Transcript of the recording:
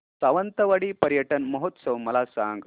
सावंतवाडी पर्यटन महोत्सव मला सांग